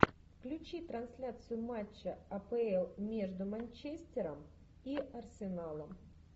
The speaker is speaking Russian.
включи трансляцию матча апл между манчестером и арсеналом